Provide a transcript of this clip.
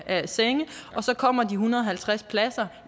af senge og så kommer de en hundrede og halvtreds pladser